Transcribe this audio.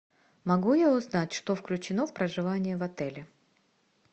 могу я узнать что включено в проживание в отеле